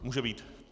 Může být.